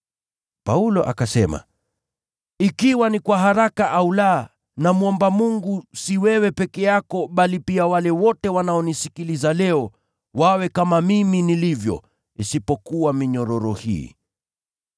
Paulo akasema, “Ikiwa ni kwa haraka au la, namwomba Mungu, si wewe peke yako bali pia wale wote wanaonisikiliza leo, wawe kama mimi nilivyo, kasoro minyororo hii.”